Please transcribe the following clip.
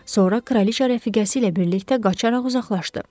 Sonra kraliça rəfiqəsi ilə birlikdə qaçaraq uzaqlaşdı.